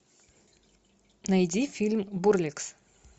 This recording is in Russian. найди фильм бурлеск